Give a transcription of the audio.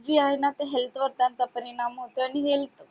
जी आहे ना health वर त्यांचा परिणाम होतोय आणि health